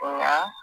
Nka